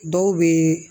Dɔw bɛ